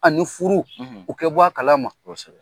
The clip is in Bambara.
A furu u kɛ bɔ a kalama.